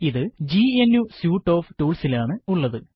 ഇത് GNU suite of ടൂള്സിലാണ് ഉള്ളത്